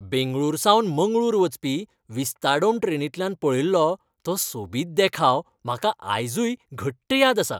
बेंगळुरूसावन मंगळूर वचपी विस्ताडोम ट्रेनींतल्यान पळयल्लो तो सोबीत देखाव म्हाका आयजूय घट्ट याद आसा.